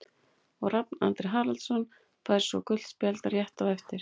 Og Rafn Andri Haraldsson fær svo gult spjald rétt á eftir.